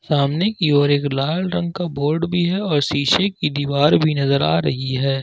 सामने की ओर एक लाल रंग का बोर्ड भी है और शीशे की दीवार भी नजर आ रही है।